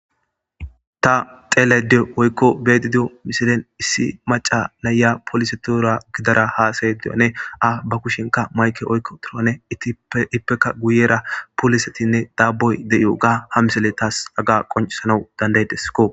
Ta xelede oykko bedidio misilen issi maca layya polise tuura gidara haasaye diyane a ba kushenka mayke oykko torone ittippeka guyera polisetinne daaboy de'iyo ga ha misele taas aga qoncsanau dandaydeskko.